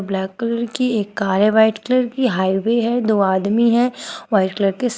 black colour की एक car है व्हाइट कलर की हाइवे है दो आदमी है व्हाइट कलर के सा--